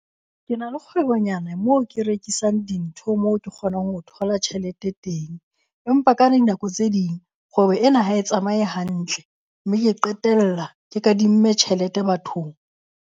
Ke na le kgwebonyana moo ke rekisang dintho mo ke kgonang ho thola tjhelete teng. Empa ka dinako tse ding kgwebo ena ha e tsamaye hantle mme ke qetella ke kadimme tjhelete bathong.